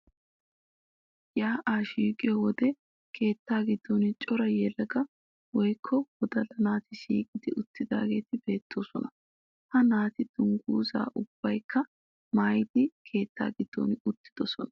Yaa'aa shiiqiyo wogga keettaa giddon cora yelaga woykko wodalla naati shiiqi uttidaageeti beettoosona. Ha naati dungguzzaa ubbaykka maayidi keetta giddon uttidosona.